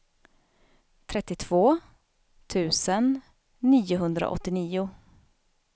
trettiotvå tusen niohundraåttionio